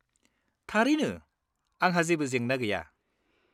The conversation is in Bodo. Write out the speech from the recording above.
थारैनो, आंहा जेबो जेंना गैया।